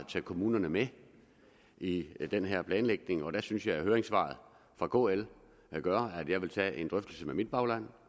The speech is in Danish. tage kommunerne med i i den her planlægning og der synes jeg at høringssvaret fra kl gør at jeg vil tage en drøftelse med mit bagland